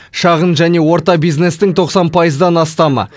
шағын және орта бизнестің тоқсан пайыздан астамы